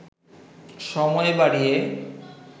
সময় বাড়িয়ে